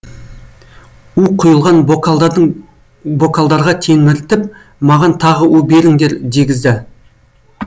у құйылған бокалдарға телміртіп маған тағы у беріңдер дегізді